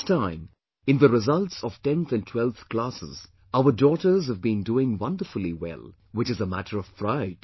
This time in the results of 10th and 12th classes, our daughters have been doing wonderfully well, which is a matter of pride